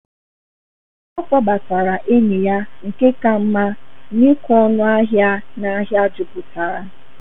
Ọ kpọbatara enyi ya nke ka mma n’ịkwụ ọnụ ahịa n’ahịa jupụtara.